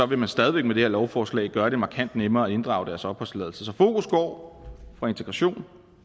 vil man stadig væk med det her lovforslag gøre det markant nemmere at inddrage deres opholdstilladelse så fokus går fra integration